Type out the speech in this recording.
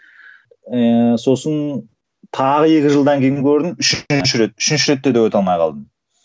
ііі сосын тағы екі жылдан кейін көрдім үшінші рет үшінші ретте де өте алмай қалдым